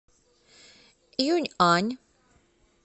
юнъань